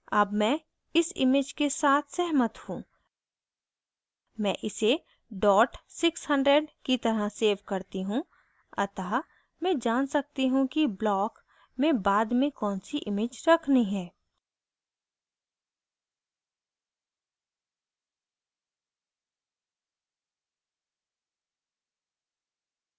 अब मैं इस image के साथ सहमत हूँ मैं इसे dot 600 की तरह सेव करती हूँ अतः मैं जान सकती हूँ कि blog में बाद में कौनसी image रखनी है